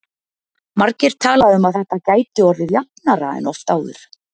Margir tala um að þetta gæti orðið jafnara en oft áður.